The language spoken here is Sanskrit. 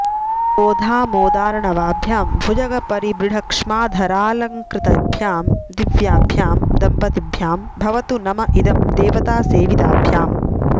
बोधामोदार्णवाभ्यां भुजगपरिबृढक्ष्माधरालङ्कृतिभ्यां दिव्याभ्यां दम्पतिभ्यां भवतु नम इदं देवतासेविताभ्याम्